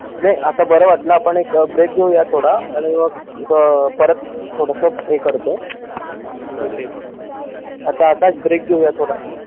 नाय आता बर वाटलं आता आपण एक break घेऊया आता थोडा आणि मग परत थोडस हे करतो आता आकाश break घेऊया थोडा